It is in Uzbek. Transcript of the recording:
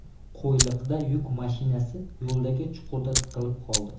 Qo‘yliqda yuk mashinasi yo‘ldagi chuqurda tiqilib qoldi.